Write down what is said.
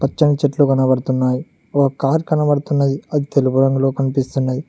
పచ్చని చెట్లు కనబడుతున్నాయ్ ఓ కార్ కనబడుతున్నది అది తెలుపు రంగులో కనిపిస్తున్నది.